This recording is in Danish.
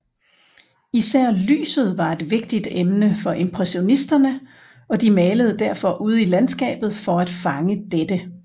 Især lyset var et vigtigt emne for impressionisterne og de malede derfor ude i landskabet for at fange dette